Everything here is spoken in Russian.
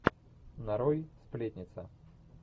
нарой сплетница